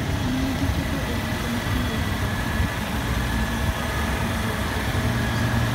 Ne gichopo e giko ma onge winjruok moro amora kendo ne ok olando wach mar loso.